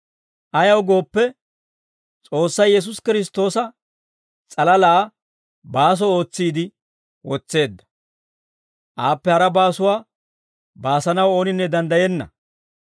Ayaw gooppe, S'oossay Yesuusi Kiristtoosa s'alalaa baaso ootsiide wotseedda. Aappe hara baasuwaa baasanaw ooninne danddayenna.